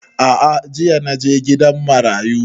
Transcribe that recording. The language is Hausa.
A'a jiya na je gidan marayu